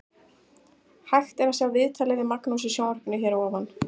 Hægt er að sjá viðtalið við Magnús í sjónvarpinu hér að ofan.